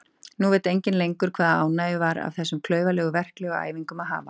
Nú veit enginn lengur hvaða ánægju var af þessum klaufalegu verklegu æfingum að hafa.